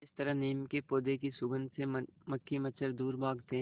जिस तरह नीम के पौधे की सुगंध से मक्खी मच्छर दूर भागते हैं